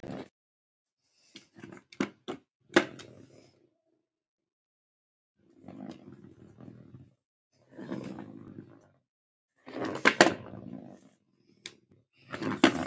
Hversu eðlilegt